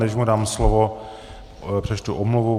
Než mu dám slovo, přečtu omluvu.